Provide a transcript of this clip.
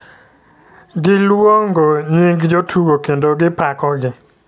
Gi luong'o nying' jotugo kendo gi pako gi.